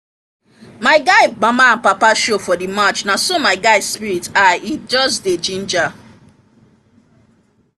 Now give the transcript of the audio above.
my guy mama and papa show for the match na so my guy spirit high e just dey ginger